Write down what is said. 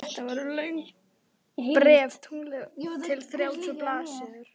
Þetta voru löng bréf, tuttugu til þrjátíu blaðsíður.